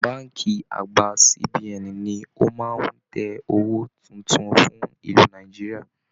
Bánkì àgbà CBN ní o máa n tẹ̀ owó títún fún ìlú Nàìjíríà